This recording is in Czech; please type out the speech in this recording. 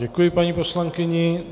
Děkuji paní poslankyni.